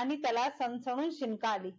आणि त्याला सणसणून शिंक आली